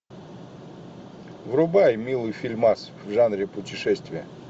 врубай милый фильмас в жанре путешествия